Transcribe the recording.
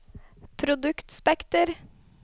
produktspekter